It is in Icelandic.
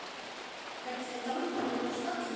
Fellir dramb menn af stalli.